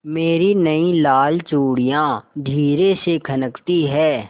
मेरी नयी लाल चूड़ियाँ धीरे से खनकती हैं